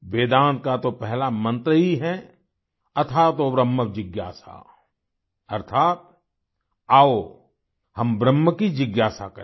वेदांत का तो पहला मंत्र ही है अथातो ब्रह्म जिज्ञासा अर्थात आओ हम ब्रह्म की जिज्ञासा करें